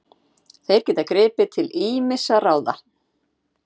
Þeir geta gripið til ýmissa ráða